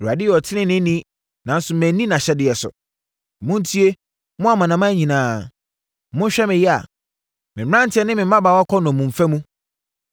“ Awurade yɛ ɔteneneeni, nanso manni nʼahyɛdeɛ so. Montie, mo amanaman nyinaa monhwɛ me yea. Me mmeranteɛ ne mmabaawa kɔ nnommumfa mu.